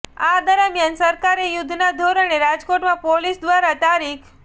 આ દરમ્યાન સરકારે યુધ્ધના ધોરણે રાજકોટમાં પોલીસ દ્વારા તા